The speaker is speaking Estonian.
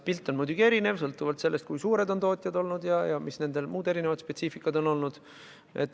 Pilt on muidugi erinev, sõltuvalt sellest, kui suured need tootjad on ja millised muud erinevad spetsiifikad on neil olnud.